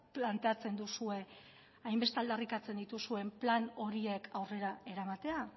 planteatzen duzue hainbeste aldarrikatzen dituzuen plan horiek aurrera eramatea